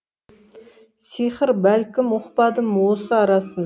сиқыр бәлкім ұқпадым осы арасын